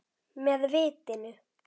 Með vitinu.